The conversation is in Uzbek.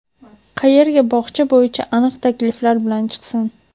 qayerga bog‘cha bo‘yicha aniq takliflar bilan chiqsin.